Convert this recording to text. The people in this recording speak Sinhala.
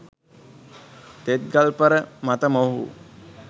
තෙත් ගල්පර මත මොවුහු